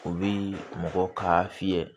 U bi mɔgɔ ka fiyɛ